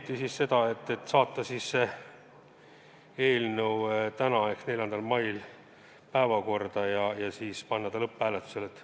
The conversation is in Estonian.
Otsustati saata see eelnõu tänasesse ehk 4. mai päevakorda ja panna ta lõpphääletusele.